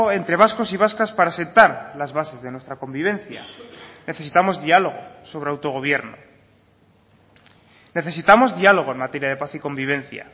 entre vascos y vascas para sentar las bases de nuestra convivencia necesitamos diálogo sobre autogobierno necesitamos diálogo en materia de paz y convivencia